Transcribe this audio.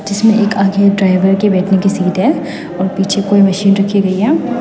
जिसमें एक आगे एक ड्राइवर के बैठने की शीट है और पीछे कोई मशीन रखी गई है।